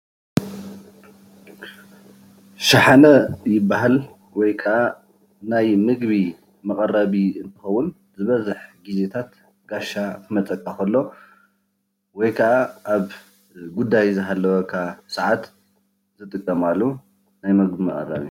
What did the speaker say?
ሸሓነ ይበሃል። ወይከዓ ናይ ምግቢ መቀረቢ እንትኸውን ዝበዝሕ ግዜታት ወይ ከዓ ጋሻ ኽመፀካ ኸሎ እትጥቀመሉ ናይ ምግቢ መቀረቢ እዩ።